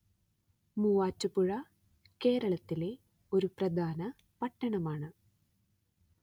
മൂവാറ്റുപുഴ കേരളത്തിലെ ഒരു പ്രധാന പട്ടണമാണ്